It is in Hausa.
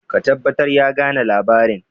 ka tabbatar ya gane labarin!